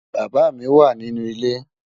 Bàbá mi wà nínú ilẹ̀.